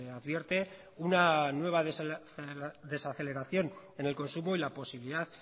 advierte una nueva desaceleración en el consumo y la posibilidad